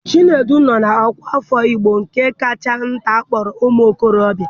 Chinedu nọ na ọkwa afọ Igbo nke kacha nta akpọrọ ụ́muokorobia.